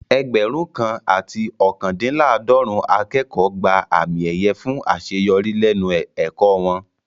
Ẹgbẹ̀rún kan àti ookandinlaadorun akẹ́kọ̀ọ́ gba àmì ẹ̀yẹ fún àṣeyọrí lẹ́nu ẹ̀kọ́ wọn